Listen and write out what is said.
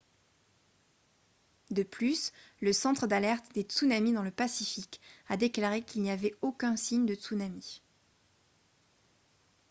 de plus le centre d'alerte des tsunamis dans le pacifique a déclaré qu'il n'y avait aucun signe de tsunami